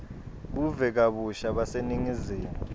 buve kabusha baseningizimu